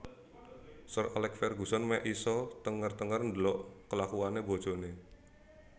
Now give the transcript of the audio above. Sir Alex Ferguson mek isok tenger tenger ndelok kelakuane bojone